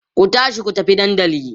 ku tashi ku tafi dandali!